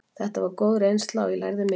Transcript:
Þetta var góð reynsla og ég lærði mikið.